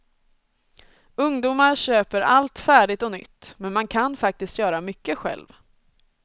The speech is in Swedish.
Ungdomar köper allt färdigt och nytt, men man kan faktiskt göra mycket själv.